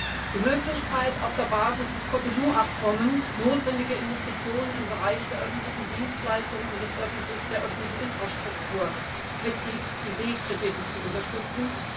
und die Möglichkeit, auf der Basis des Cotonou Abkommens notwendige Investitionen im Bereich der öffentlichen Dienstleistungen und der öffentlichen Infrastruktur mit IB Krediten zu unterstützen.